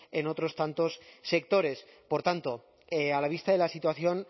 en otros sectores por tanto a la vista de la situación